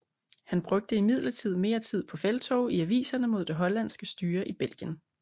Han brugte imidlertid mere tid på felttog i aviserne mod det hollandske styre i Belgien